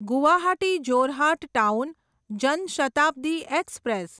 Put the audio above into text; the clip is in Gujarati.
Guwahati Jorhat town Jan Shatabdi express